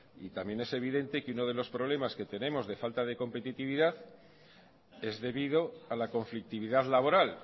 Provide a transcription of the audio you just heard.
también es evidente que uno de los problemas que tenemos de falta de competitividad es debido a la conflictividad laboral